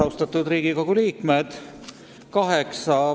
Austatud Riigikogu liikmed!